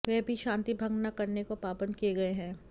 वह भी शांति भंग ना करने को पाबंद किए गए हैं